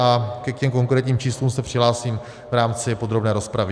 A k těm konkrétním číslům se přihlásím v rámci podrobné rozpravy.